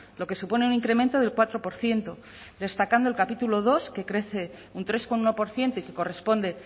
lo que supone un incremento del cuatro por ciento destacando el capítulo dos que crece un tres coma uno por ciento y que corresponde